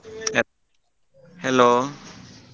Hello .